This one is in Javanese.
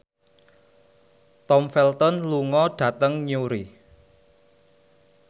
Tom Felton lunga dhateng Newry